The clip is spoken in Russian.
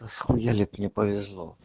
а с хуяли ты мне повезло